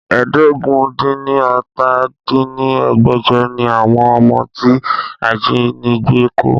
ẹ́ẹdógún-dín-ní-ọ́ta dín ní ẹgbẹ́jọ ni àwọn ọmọ tí ajínigbé kó